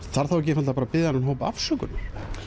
þarf þá ekki að biðja þennan hóp afsökunar